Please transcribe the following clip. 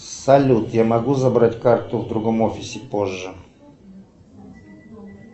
салют я могу забрать карту в другом офисе позже